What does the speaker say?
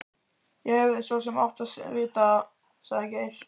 Ég hefði svo sem mátt vita það sagði Geir.